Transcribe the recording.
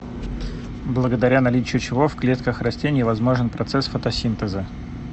благодаря наличию чего в клетках растений возможен процесс фотосинтеза